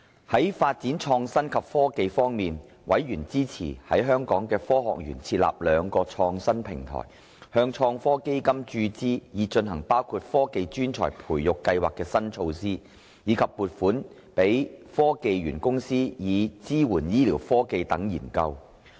在發展創新及科技方面，委員支持在香港科學園設立兩個創新平台，向創新及科技基金注資，以推行包括科技專才培育計劃的新措施，以及撥款予香港科技園公司，以支援醫療科技等研究。